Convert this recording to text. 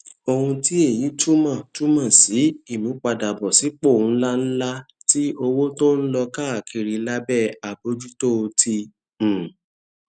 ohun tí èyí túmò túmò sí ìmúpadàbòsípò ńláǹlà ti owó tó ń lọ káàkiri lábé àbójútó ti um